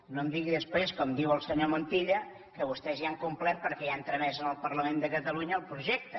no em digui després com diu el senyor montilla que vostès ja han complert perquè ja han tramès al parlament de catalunya el projecte